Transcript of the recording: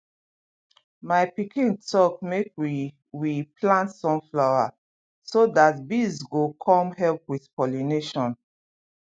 my pikin talk make we we plant sunflower so that bees go come help with pollination